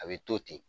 A bɛ to ten